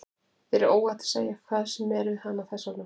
Þér er óhætt að segja hvað sem er við hana, þess vegna.